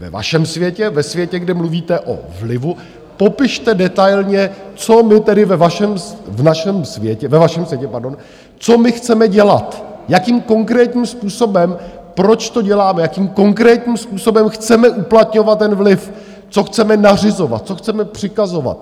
Ve vašem světě, ve světě, kde mluvíte o vlivu, popište detailně, co my tedy ve vašem světě chceme dělat, jakým konkrétním způsobem, proč to děláme, jakým konkrétním způsobem chceme uplatňovat ten vliv, co chceme nařizovat, co chceme přikazovat.